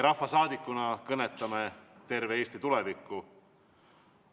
Rahvasaadikuina kõnetame terve Eesti tulevikku.